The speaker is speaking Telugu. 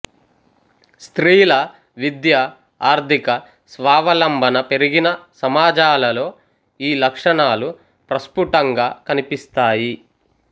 స్త్రీల విద్య ఆర్థిక స్వావలంబన పెరిగిన సమాజాలలో ఈ లక్షణాలు ప్రస్ఫుటంగా కనిపిస్తాయి